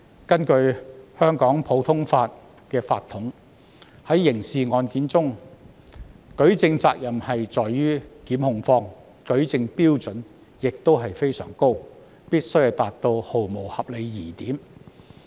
根據香港普通法的法統，刑事案件的舉證責任在於控方，舉證標準非常高，必須毫無合理疑點。